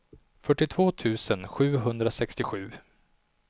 fyrtiotvå tusen sjuhundrasextiosju